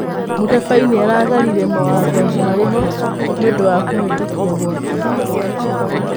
Mũtabaĩ nĩaragararĩre mawatho marĩho nĩũndũwa kũhetũkio gwake.